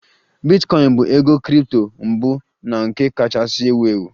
Bitcoin bụ ego kripto mbụ na nke kachasị ewu ewu